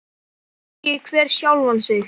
Spyrji hver sjálfan sig.